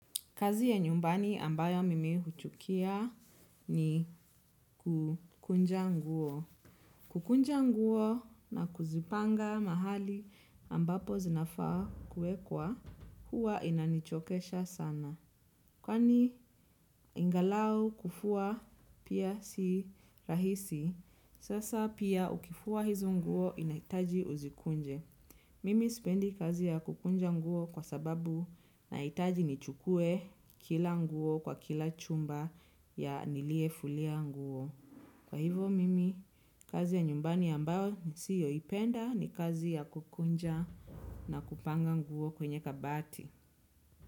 Kazi ya nyumbani ambayo mimi huchukia, ni kukunja nguo. Kukunja nguo na kuzipanga mahali ambapo zinafaa kuekwa, huwa inanichokesha sana. Kwani, ingalau kufua pia si rahisi, sasa pia ukifua hizo nguo inahitaji uzikunje. Mimi spendi kazi ya kukunja nguo, kwa sababu, nahitaji nichukue kila nguo kwa kila chumba ya nilie fulia nguo. Kwa hivo mimi, kazi ya nyumbani ambayo ni siyo ipenda ni kazi ya kukunja na kupanga nguo kwenye kabati.